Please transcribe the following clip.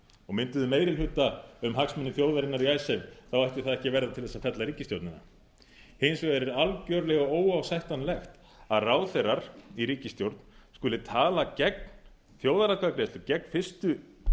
og mynduðu meiri hluta um hagsmuni þjóðarinnar í icesave ætti það ekki að verða til þess að fella ríkisstjórnina hins vegar er algjörlega óásættanlegt að ráðherrar í ríkisstjórn skuli tala gegn þjóðaratkvæðagreiðslu gegn fyrstu